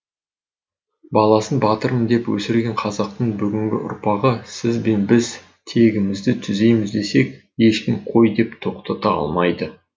баласын батырым деп өсірген қазақтың бүгінгі ұрпағы сіз бен біз тегімізді түзейміз десек ешкім қой деп тоқтата алмайды